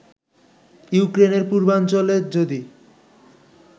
ইউক্রেনের পূর্বাঞ্চলে যদি